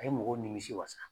A ye mɔgɔw nimisi wasa.